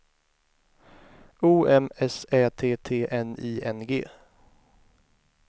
O M S Ä T T N I N G